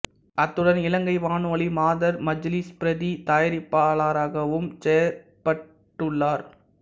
அத்துடன் இலங்கை வானொலி மாதர் மஜ்லிஸ் பிரதித் தயாரிப்பாளராகவும் செயற்பட்டுள்ளார்